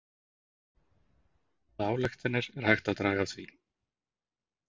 Hvaða ályktanir er hægt að draga af því?